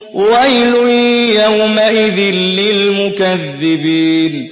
وَيْلٌ يَوْمَئِذٍ لِّلْمُكَذِّبِينَ